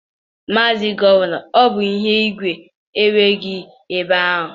Maazị Gọvanọ, ọ bụ ihe ùgwù inwe gị ebe a.